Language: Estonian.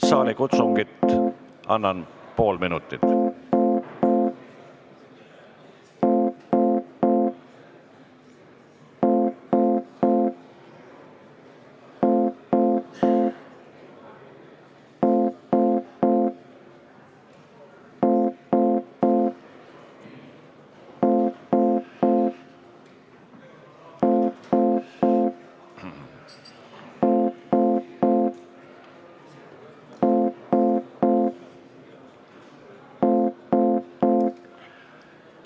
Saalikutsungit annan pool minutit.